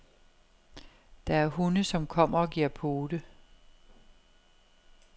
Der er hunde, som kommer og giver pote.